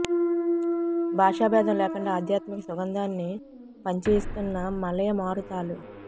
భాషాభేదం లేకుండా ఆధ్యాత్మిక సుగంధాన్ని పంచి ఇస్తున్న మలయ మారుతాలు